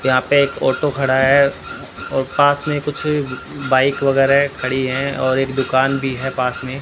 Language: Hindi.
यहां पे एक ऑटो खड़ा है और पास में कुछ बाइक वगैरह खड़ी हैं और एक दुकान भी है पास में।